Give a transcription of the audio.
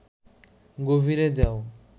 গভীরে যাও